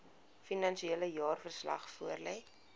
finansiële jaarverslag voorlê